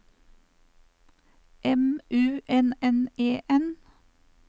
M U N N E N